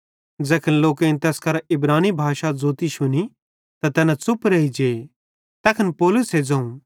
ज़ैखन लोकेईं तैस करां इब्रानी भाषा ज़ोती शुनी त तैना च़ुप रेइजे तैखन पौलुसे ज़ोवं